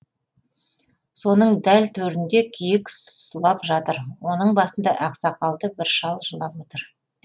соның дәл төрінде киік сұлап жатыр оның басында ақсақалды бір шал жылап отыр